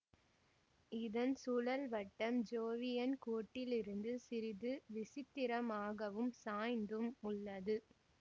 இதன் சுழல்வட்டம் ஜோவியன் கோட்டிலிருந்து சிறிது விசித்திரமாகவும் சாய்ந்தும் உள்ளது